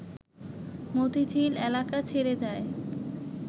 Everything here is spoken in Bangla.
মতিঝিল এলাকা ছেড়ে যায়